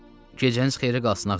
Gecəniz xeyirə qalsın, ağa.